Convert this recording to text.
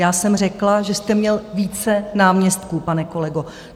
Já jsem řekla, že jste měl více náměstků, pane kolego.